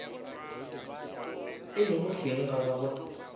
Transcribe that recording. e lego hleng ga gagwe